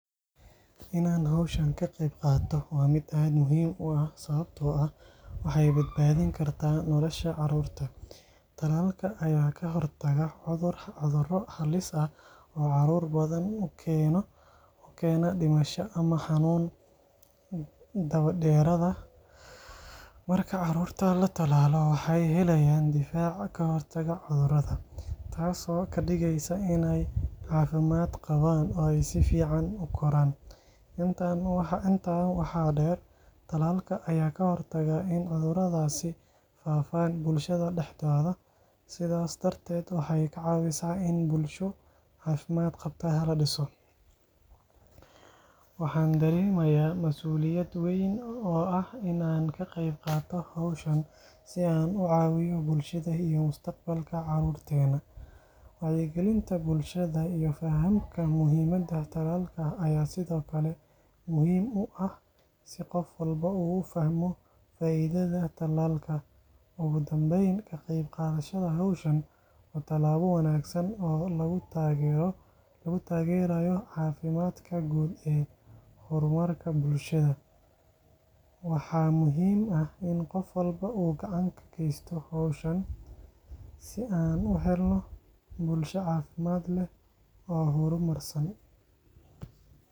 Inaan hawshan ka qayb qaato waa mid aad muhiim u ah, sababtoo ah waxay badbaadin kartaa nolosha carruurta. Talaalka ayaa ka hortaga cuduro halis ah oo caruur badan u keena dhimasho ama xanuun daba-dheeraada. Marka carruurta la tallaalo, waxay helayaan difaac ka hortagaya cudurada, taasoo ka dhigaysa inay caafimaad qabaan oo ay si fiican u koraan. Intaa waxaa dheer, talaalka ayaa ka hortaga in cuduradaasi faafaan bulshada dhexdeeda, sidaas darteed waxay ka caawisaa in bulsho caafimaad qabta la dhiso. Waxaan dareemayaa masuuliyad weyn oo ah in aan ka qayb qaato hawshan, si aan u caawiyo bulshada iyo mustaqbalka carruurteena. Wacyigelinta bulshada iyo fahamka muhiimadda talaalka ayaa sidoo kale muhiim u ah, si qof walba uu u fahmo faa’iidada tallaalka. Ugu dambeyn, ka qayb qaadashada hawshan waa talaabo wanaagsan oo lagu taageerayo caafimaadka guud iyo horumarka bulshada. Waxaa muhiim ah in qof walba uu gacan ka geysto hawshan si aan u helno bulsho caafimaad leh oo horumarsan.